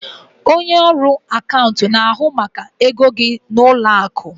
Onye ọrụ akaụntụ na-ahụ maka ego gị n'ụlọ akụ.